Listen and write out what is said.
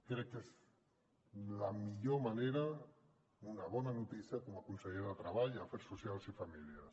crec que és la millor manera una bona notícia com a conseller de treball afers socials i famílies